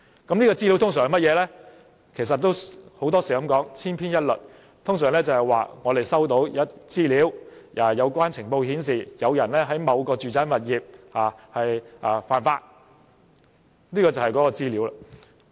這些資料通常也是千篇一律，說收到的資料、情報顯示，有人在某個住宅物業犯法，就是這樣。